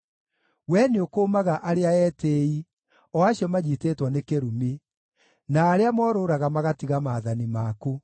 Wee nĩũkũũmaga arĩa etĩĩi, o acio manyiitĩtwo nĩ kĩrumi, na arĩa morũũraga magatiga maathani maku.